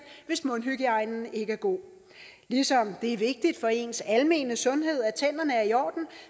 hvis mundhygiejnen ikke er god ligesom det er vigtigt for ens almene sundhed at tænderne er i orden